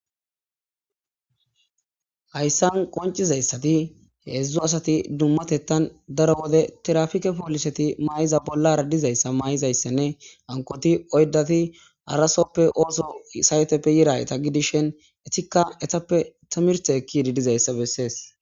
Hayssan qoncizayssati heedzdzu asati dummatettan daro wode tirafike pooliseti maa'iza bollara dizayssa maayizayssenne ankoti oydati arasoppe ooso sayeteppe yidayeta gidishen etikka etappe tamirte ekkididizayssa bessees